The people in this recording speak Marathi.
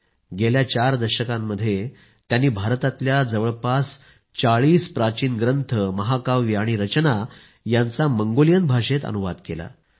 गेल्या चार दशकांमध्ये त्यांनी भारतातल्या जवळपास 40 प्राचीन ग्रंथ महाकाव्ये आणि रचना यांचा मंगोलियन भाषेत अनुवाद केला आहे